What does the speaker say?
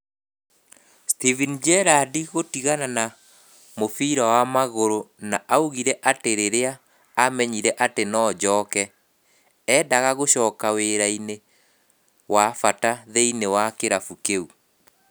Steven Gerrard gũtigana na mũbira wa magũrũ na augire atĩ rĩrĩa amenyire atĩ no njoke, endaga gũcoka wĩra-inĩ wa bata thĩiniĩ wa kĩrabu kĩu.